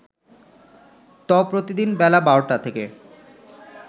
ত প্রতিদিন বেলা ১২টা থেকে